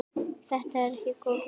Þetta er ekki góð þróun.